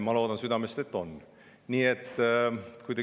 Ma südamest loodan, et on.